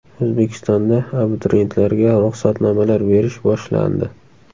O‘zbekistonda abituriyentlarga ruxsatnomalar berish boshlandi.